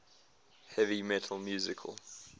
heavy metal musical